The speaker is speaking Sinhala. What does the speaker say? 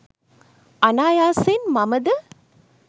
අනායාසයෙන් මම ද